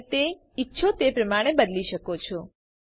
તમે તે તમે ઇચ્છો તે પ્રમાણે બદલી શકો છો